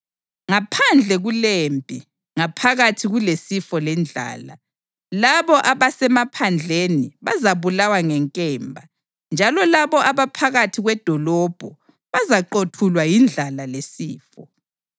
Ngaphandle kulempi, ngaphakathi kulesifo lendlala, labo abasemaphandleni bazabulawa ngenkemba, njalo labo abaphakathi kwedolobho bazaqothulwa yindlala lesifo.